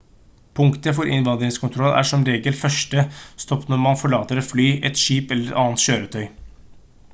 punktet for innvandringskontroll er som regel 1. stopp når man forlater et fly et skip eller et annet kjøretøy